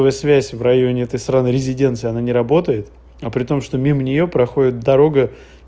ну и связь в районе этой сраной резиденции она не работает а при том что мимо неё проходит дорога